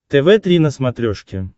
тв три на смотрешке